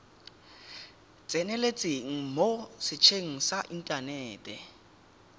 tseneletseng mo setsheng sa inthanete